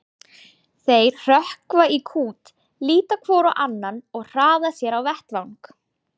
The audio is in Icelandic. Þeir hrökkva í kút, líta hvor á annan og hraða sér á vettvang.